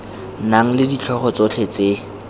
nang le ditlhogo tsotlhe tse